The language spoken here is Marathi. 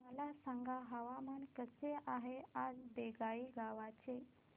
मला सांगा हवामान कसे आहे आज बोंगाईगांव चे